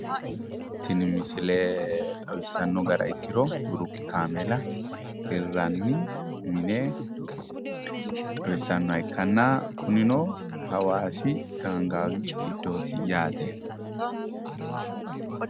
Tini misile xawissanno gara ikkiro biruki kaameela hirranni mine xawissannoha ikkanna kunino hawaasi gaangaawi giddooti yaate.